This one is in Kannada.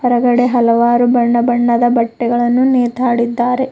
ಹೊರಗಡೆ ಹಲವಾರು ಬಣ್ಣ ಬಣ್ಣದ ಬಟ್ಟೆಗಳನ್ನು ನೇತಾಡಿದ್ದಾರೆ.